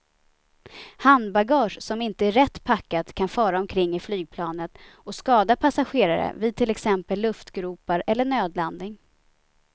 Handbagage som inte är rätt packat kan fara omkring i flygplanet och skada passagerare vid till exempel luftgropar eller nödlandning.